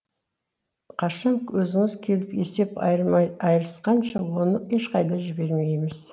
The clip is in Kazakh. қашан өзіңіз келіп есеп айырысқанша оны ешқайда жібермейміз